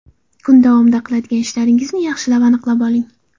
Kun davomida qiladigan ishlaringizni yaxshilab aniqlab oling.